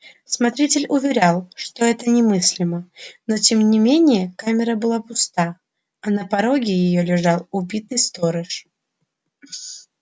смотритель уверял что это немыслимо но тем не менее камера была пуста а на пороге её лежал убитый сторож